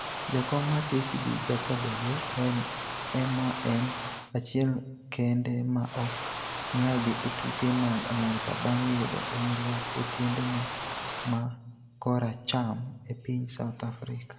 Jakom mar KCB, Jacob Ojee en ema en achiel kende ma ok nyal dhi e tuke mag Amerka bang' yudo hinyruok e tiendene ma koracham e piny South Africa.